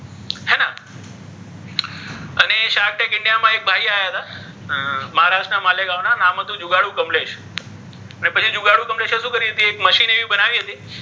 થી india ના ઍક ભાઇ આવ્યા હતા મહારાષ્ટ્ર ના માલે ગાવ ના તેનુ નામ હતુ જુગાડુ કમલેશ અને પછી જુગાડુ કમલેશે શુ કરી હતી મશીન ઍવી બનાવી હતી.